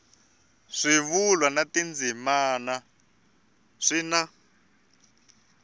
swivulwa na tindzimana swi na